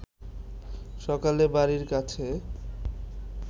সকালে বাড়ির কাছে